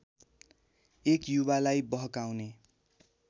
एक युवालाई बहकाउने